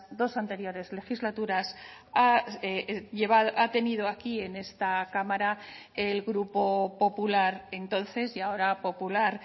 dos anteriores legislaturas ha tenido aquí en esta cámara el grupo popular entonces y ahora popular